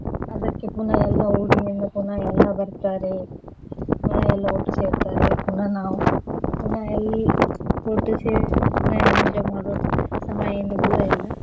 ಅದಕ್ಕೆ ಪುನಃ ಎಲ್ಲಾ ಊರಿನಿಂದ ಪುನಃ ಎಲ್ಲಾ ಬರ್ತಾರೆ ಪುನಃ ಎಲ್ಲಾ ಒಟ್ಟು ಸೇರ್ತಾರೆ ಪುನಃ ನಾವು ಪುನಃ ಎಲ್ಲಾ ಒಟ್ಟು ಸೇರಿ ಪುನಃ enjoy ಮಾಡುವಂತ ಸಮಯ ಇನ್ನು ದೂರ ಇಲ್ಲ.